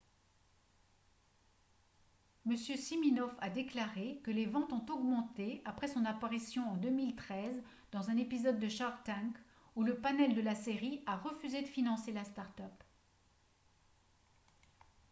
m siminoff a déclaré que les ventes ont augmenté après son apparition en 2013 dans un épisode de shark tank où le panel de la série a refusé de financer la start-up